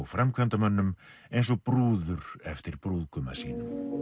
framkvæmdamönnum eins og brúður eftir brúðguma sínum